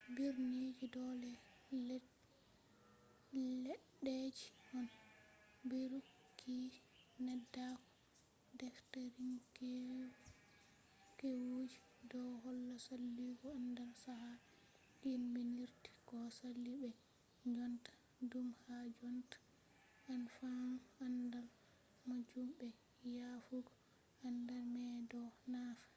birniji do les leddeji on. biiruki neddaku-defterinkeewuji do holla salugo andal chaka jinbinirde ko sali be jonta dum ha jonta anfanu andal majum be yofugo andal mai do nafa